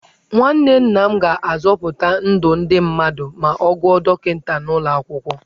Nwanne nna m ga-azọpụta ndụ ndị mmadụ ma ọ gụọ dọkịta n'ụlọ akwụkwọ.